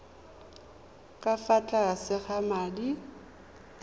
ka fa tlase ga madi